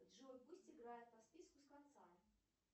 джой пусть играет по списку с конца